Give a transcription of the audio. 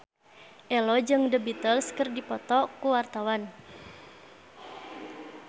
Ello jeung The Beatles keur dipoto ku wartawan